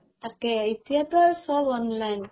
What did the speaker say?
তাকেই এতিয়াটো আৰু চব online